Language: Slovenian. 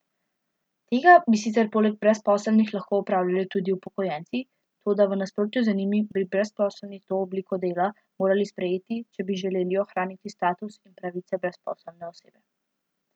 Tega bi sicer poleg brezposelnih lahko opravljali tudi upokojenci, toda v nasprotju z njimi bi brezposelni to obliko dela morali sprejeti, če bi želeli ohraniti status in pravice brezposelne osebe.